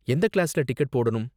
எந்த கிளாஸ்ல டிக்கெட் போடனும்?